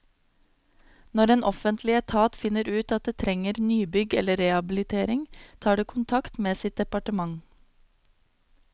Når en offentlig etat finner ut at det trenger nybygg eller rehabilitering, tar det kontakt med sitt departement.